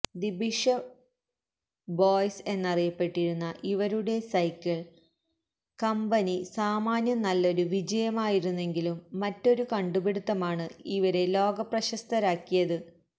the Bishop Boys എന്നറിയപ്പെട്ടിരുന്ന ഇവരുടെ cycle company സാമാന്യം നല്ലൊരു വിജയമായിരുന്നെങ്കിലും മറ്റൊരു കണ്ടുപിടിത്തമാണ് ഇവരെ ലോകപ്രശസ്തരാക്കിയത്